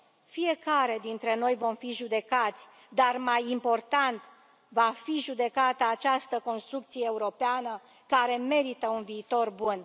fiecare dintre noi vom fi judecați dar, mai important, va fi judecată această construcție europeană, care merită un viitor bun.